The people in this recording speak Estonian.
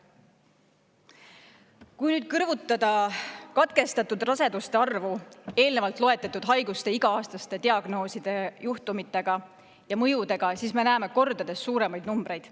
Kui kõrvutada katkestatud raseduste arvu eelnevalt loetletud haiguste iga-aastaste diagnoosijuhtude ja mõjudega, siis näeme kordades suuremaid numbreid.